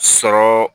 Sɔrɔ